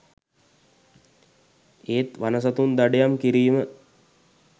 ඒත් වන සතුන් දඩයම් කිරීම